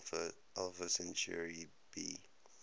alpha centauri b